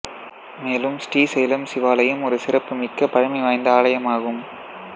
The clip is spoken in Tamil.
மேலும் ஶ்ரீசைலம் சிவாலயம் ஒரு சிறப்பு மிக்க பழமைவாய்ந்த ஆலயம் ஆகும்